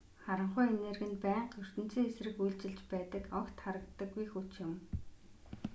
харанхуй энерги нь байнга ертөнцийн эсрэг үйлчилж байдаг огт харагддаггүй хүч юм